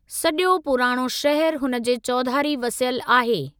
सजो॒ पुराणो शहरु हुन जे चौधारी वसियलु आहे।